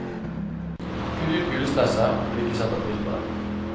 Kutt ut julestresset, om du ikke setter pris på det.